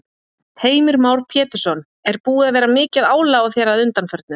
Heimir Már Pétursson: Er búið að vera mikið álag á þér að undanförnu?